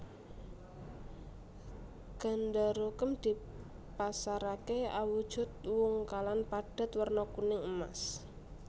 Gandarukem dipasaraké awujudu wungkalan padhet werna kuning emas